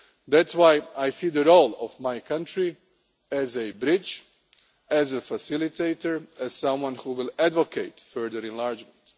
That is why I see the role of my country as a bridge, as a facilitator and as someone who will advocate further enlargement.